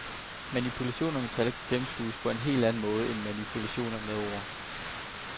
Manipulationer med tal kan gennemskues på en helt anden måde end manipulationer med ord.